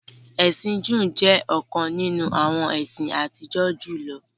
Ẹ̀sin Jùú jẹ̀ ọ̀kan nínu awọn ẹ̀sin àtìjọ́ julọ.